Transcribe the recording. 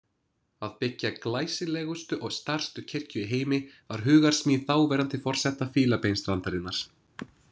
Að byggja glæsilegustu og stærstu kirkju í heimi var hugarsmíð þáverandi forseta Fílabeinsstrandarinnar.